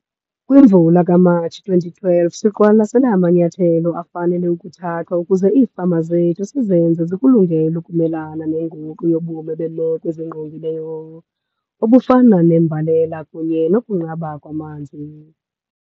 Kwimvula kaMatshi 2012 siqwalasele amanyathelo afanele ukuthathwa ukuze iifama zethu sizenze zikulungele ukumelana nenguquko kubume bemeko ezingqongileyo obufana nembalela kunye nokunqaba kwamanzi.